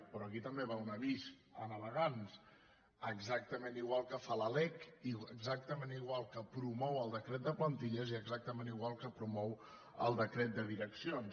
però aquí també va un avís a navegants exactament igual que fa la lec exactament igual que promou el decret de plantilles i exactament igual que promou el decret de direccions